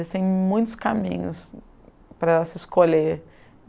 Existem muitos caminhos para se escolher.